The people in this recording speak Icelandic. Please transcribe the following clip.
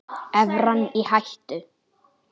Evran í hættu?